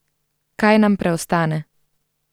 Kaj nam preostane?